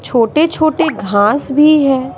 छोटे-छोटे घास भी है।